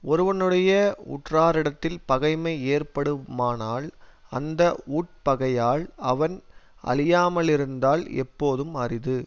ஒருவனுடைய உற்றாரிடத்தில் பகைமை ஏற்படுமானால் அந்த உட்பகையால் அவன் அழியாமலிருத்தல் எப்போதும் அரிது